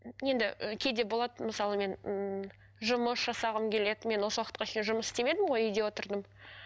енді і кейде болады мысалы мен ммм жұмыс жасағым келеді мен осы уақытқа шейін жұмыс істемедім ғой үйде отырдым